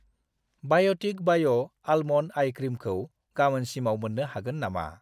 बाय'टिक बाय' almond ice क्रिमखौ गामोनसिमाव मोन्नो हागोन नामा?